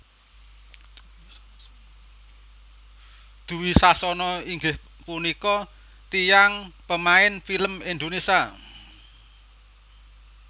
Dwi Sasono inggih punika tiyang pemain film Indonesia